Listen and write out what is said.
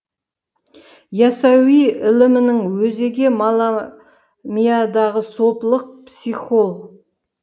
ясауи ілімінің өзегі маламийадағы сопылық психол